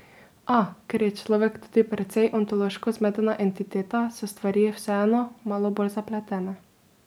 A, ker je človek tudi precej ontološko zmedena entiteta, so stvari vseeno malo bolj zapletene.